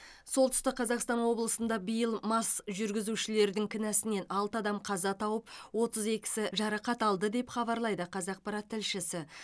солтүстік қазақстан облысында биыл мас жүргізушілердің кінәсінен алты адам қаза тауып отыз екісі жарақат алды деп хабарлайды қазақпарат тілшісі